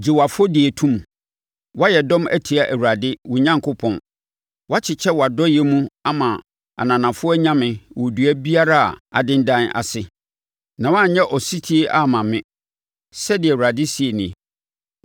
Gye wo afɔdie to mu, woayɛ dɔm atia Awurade, wo Onyankopɔn, woakyekyɛ wʼadɔeɛ mu ama ananafoɔ anyame wɔ dua biara a adendan ase, na woanyɛ ɔsetie amma me,’ ” sɛdeɛ Awurade seɛ nie.